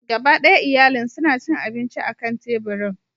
Gaba ɗaya iyalin suna cin abinci akan teburin.